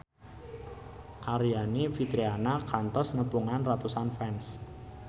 Aryani Fitriana kantos nepungan ratusan fans